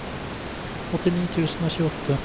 åttini tusen og tjueåtte